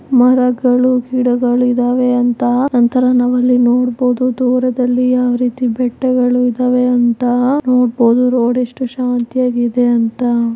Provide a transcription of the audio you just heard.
ಮರಗಳು ಗಿಡಗಳು ಇದಾವೆ ಅಂತ ನಂತರ ನಾವಿಲ್ಲಿ ನೋಡ್ಬೋದು ದೂರದಲ್ಲಿ ಯಾವ್ ರೀತಿ ಬೆಟ್ಟಗಳಿದವೇ ಅಂತ ನೋಡ್ಬೋದು ರೋಡ್ ಎಷ್ಟ್ ಶಾಂತೀಯಾಗಿದೆ ಅಂತ.